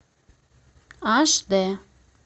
аш дэ